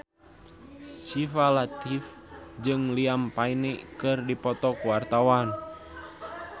Syifa Latief jeung Liam Payne keur dipoto ku wartawan